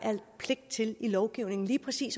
pligt til i lovgivningen lige præcis